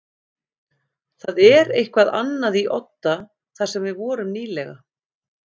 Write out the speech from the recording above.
Það er eitthvað annað í Odda þar sem við vorum nýlega.